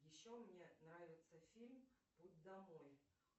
еще мне нравится фильм путь домой